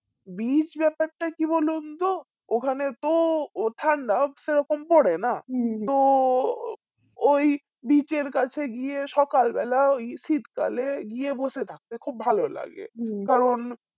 beach ব্যাপারটা কি বলুনতো ওখানে তো ওঠা নার্ভ সে রকম পরে না তো ওই church এর কাছে গিয়ে সকাল বেলা ওই শীতকালে গিয়ে বসে থাকতে খুব ভালোলাগে কারণ